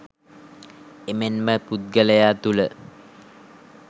එමෙන්ම පුද්ගලයා තුළ